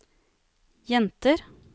jenter